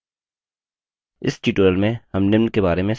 इस tutorial में हम निम्न के बारे में सीखेंगे